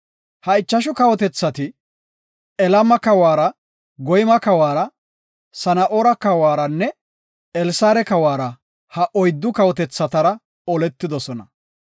Ha ichashu kawotethati, Elama kawara, Goyma kawara, Sana7oora kawaranne Elsaare kawara ha oyddu kawotethatara oletidosona.